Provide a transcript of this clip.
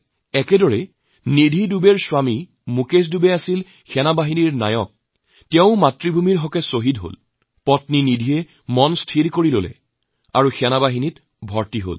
তেনেদৰেই নিধি দুবেৰ স্বামী মুকেশ দুবে সেনাৰ নায়ক পদত কাম কৰিছিল আৰু মাতৃভূমিৰ বাবে যেতিয়া শ্বহীদ হয় তেওঁৰ পত্নী নিধি মনে মনে সিদ্ধান্ত লয় আৰু তেৱোঁ সেনাত ভৰ্তি হয়